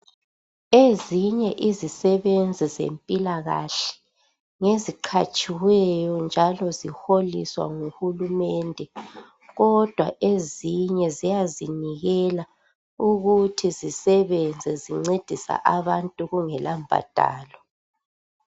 Ezinye izisebenza zempilakahle ngeziqatshiweyo njalo ziholiswa nguhulumende kodwa ezinye ziyazi nikela ukuthi zisebenze zincedisa abantu kungela mbadalo